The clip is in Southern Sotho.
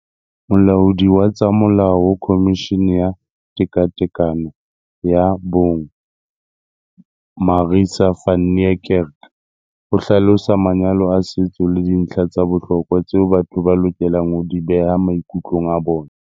Molaodi wa tsa molao ho Khomishini ya Tekatekano ya Bong Marissa van Niekerk o hlalosa manyalo a setso le dintlha tsa bohlokwa tseo batho ba lokelang ho di beha maikutlong a bona.